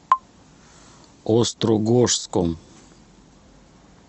острогожском